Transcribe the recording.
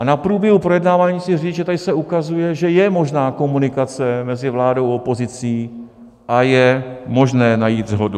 A na průběhu projednávání chci říct, že tady se ukazuje, že je možná komunikace mezi vládou a opozicí a je možné najít shodu.